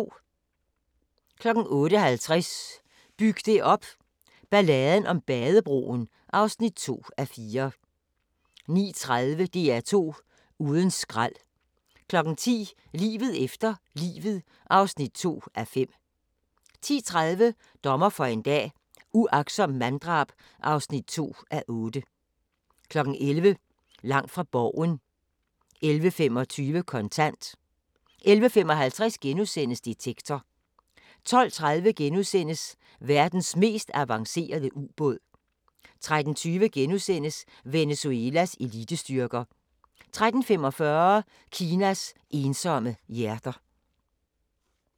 08:50: Byg det op – Balladen om Badebroen (2:4) 09:30: DR2 uden skrald 10:00: Livet efter livet (2:5) 10:30: Dommer for en dag - uagtsomt manddrab (2:8) 11:00: Langt fra Borgen 11:25: Kontant 11:55: Detektor * 12:30: Verdens mest avancerede ubåd * 13:20: Venezuelas elitestyrker * 13:45: Kinas ensomme hjerter